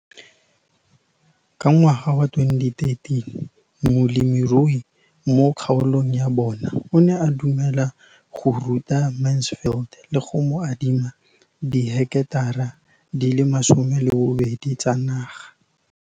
Ka ngwaga wa 2013, molemirui mo kgaolong ya bona o ne a dumela go ruta Mansfield le go mo adima di heketara di le 12 tsa naga.